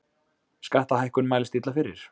Skattahækkun mælist illa fyrir